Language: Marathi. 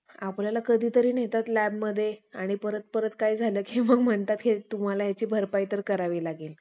आपल्याला कधीतरी नेतात लॅबमध्ये आणि परत परत काही झालं कि मग म्हणतात कि तुम्हाला ह्याची भरपाई तर करावी लागेल